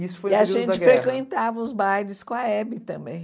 Isso foi... E a gente frequentava os bailes com a Hebe também.